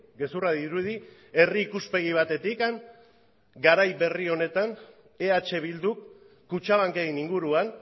gezurra dirudi herri ikuspegi batetik garai berri honetan eh bilduk kutxabanken inguruan